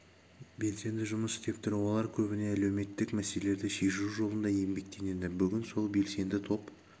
белсенді жұмыс істеп тұр олар көбіне әлеуметтік мәселелерді шешу жолында еңбектенеді бүгін сол белсенді топ